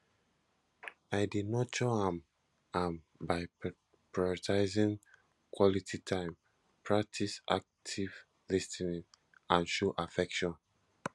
i dey nurture am am by prioritizing quality time practice active lis ten ing and show affection